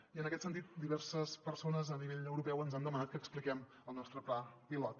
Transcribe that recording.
i en aquest sentit diverses persones a nivell europeu ens han demanat que expliquem el nostre pla pilot